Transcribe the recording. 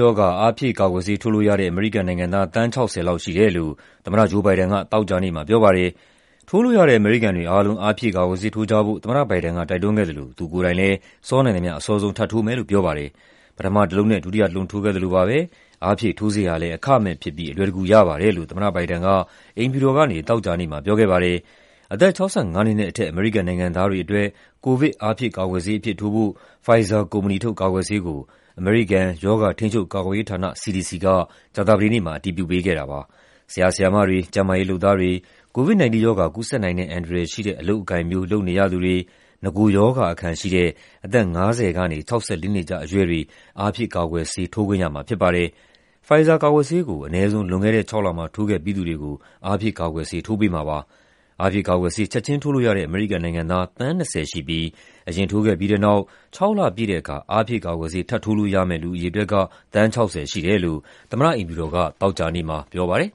ရောဂါ အားဖြည့်ကာကွယ်ဆေး ထိုးလို့ရတဲ့ အမေရိကန်နိုင်ငံသား သန်း ၆၀ လောက်ရှိတယ်လို့ သမ္မတ Joe Biden က သောကြာနေ့မှာ ပြောပါတယ်။ ထိုးလို့ရတဲ့ အမေရိကန်တွေအားလုံး အားဖြည့်ကာကွယ်ဆေး ထိုးကြဖို့ သမ္မတ Biden က တိုက်တွန်းခဲ့သလို သူကိုယ်တိုင်လည်း စောနိုင်သမျှ အစောဆုံး ထပ်ထိုးမယ်လို့ ပြောပါတယ်။ "ပထမတလုံးနဲ့ ဒုတိယတလုံး ထိုးခဲ့သလိုပါပဲ၊ အားဖြည့်ထိုးဆေးဟာလည်း အခမဲ့ဖြစ်ပြီး အလွယ်တကူ ရပါတယ်" လို့ သမ္မတ Biden က အိမ်ဖြူတော်ကနေ သောကြာနေ့မှာ ပြောခဲ့ပါတယ်။ အသက် ၆၅ နှစ်နဲ့အထက် အမေရိကန်နိုင်ငံသားတွေအတွက် ကိုဗစ် အားဖြည့်ကာကွယ်ဆေးအဖြစ် ထိုးဖို့ Pfizer ကုမ္ပဏီထုတ် ကာကွယ်ဆေးကို အမေရိကန် ရောဂါထိန်းချုပ်ကာကွယ်ရေးဌာန (CDC) က ကြာသပတေးနေ့မှာ အတည်ပြုပေးခဲ့တာပါ။ ဆရာ ဆရာမတွေ၊ ကျန်းမာရေးလုပ်သားတွေ၊ COVID-19 ရောဂါ ကူးစက်နိုင်တဲ့ အန္တရာယ်ရှိတဲ့ အလုပ်အကိုင်မျိုး လုပ်နေရသူတွေ၊ နဂိုရောဂါအခံရှိတဲ့ အသက် ၅၀ ကနေ ၆၄ နှစ်ကြားအရွယ်တွေ အားဖြည့်ကာကွယ်ဆေး ထိုးခွင့်ရမှာ ဖြစ်ပါတယ်။ Pfizer ကာကွယ်ဆေးကို အနည်းဆုံး လွန်ခဲ့တဲ့ ၆ လမှာ ထိုးခဲ့ပြီးသူတွေကို အားဖြည့်ကာကွယ်ဆေး ထိုးပေးမှာပါ။ အားဖြည့်ကာကွယ်ဆေး ချက်ချင်းထိုးလို့ရတဲ့ အမေရိကန်နိုင်ငံသား သန်း ၂၀ ရှိပြီး အရင်ထိုးခဲ့ပြီးတဲ့နောက် ၆ လပြည့်တဲ့အခါ အားဖြည့်ကာကွယ်ဆေး ထပ်ထိုးလို့ရမယ့် လူအရေအတွက်က သန်း ၆၀ ရှိတယ်လို့ သမ္မတအိမ်ဖြူတော်က သောကြာနေ့မှာ ပြောပါတယ်။